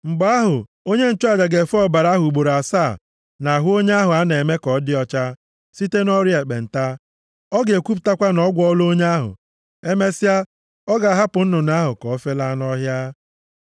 Mgbe ahụ, onye nchụaja ga-efe ọbara ahụ ugboro asaa nʼahụ onye ahụ a na-eme ka ọ dị ọcha site nʼọrịa ekpenta. Ọ ga-ekwupụtakwa na a gwọọla onye ahụ. Emesịa, ọ ga-ahapụ nnụnụ ahụ ka o felaa nʼọhịa.